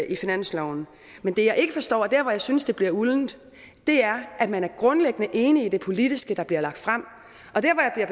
i finansloven men det jeg ikke forstår og dér hvor jeg synes det bliver uldent er at man grundlæggende er enig i det politiske der bliver lagt frem og